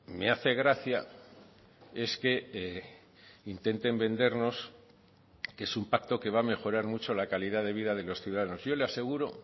me hace gracia es que intenten vendernos que es un pacto que va a mejorar mucho la calidad de vida de los ciudadanos yo le aseguro